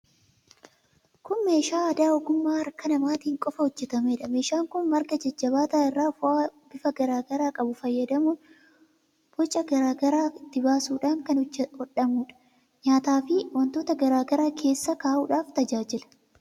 Kun meeshaa aadaa ogummaa harka namaatiin qofa hojjetameedha. Meeshaan kun marga jajjabaataa irraa fo'aa bifa garaa garaa qabu fayyadamuun, boca garaa garaa itti baasuudhaan kan hodhamuudha. Nyaataafi wantoota garaa garaa keessa kaa'uudhaaf tajaajila.